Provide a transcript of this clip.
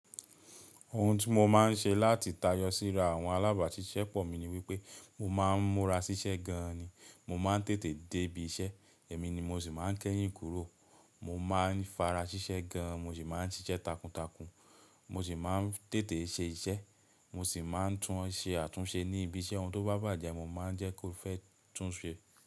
Ohun tí mo máa ń ṣe láti tayọ síra àwọn alábàáṣiṣẹ́ pọ̀ mi ni wípé mo máa ń múra ṣiṣẹ́ gan an ni. Mo máa ń tètè dé ibi iṣẹ́, èmi ni mo sì máa ń kẹ́yìn kúrò. Mo máa ń fara ṣiṣẹ́ gan an, mo sì máa ń ṣiṣẹ́ takuntakun. Mo sì máa ń tètè ṣe iṣẹ́, mo sì máa ń tún ṣe àtúnṣe ní ibi iṣẹ́. Ohun tó bá bàjẹ́ mo máa ń jẹ́ kó fẹ́ túnṣe.